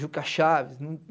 Juca Chaves.